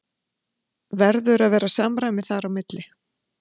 Verður að vera samræmi þar á milli?